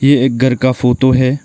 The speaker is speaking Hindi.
ये एक घर का फोटो है।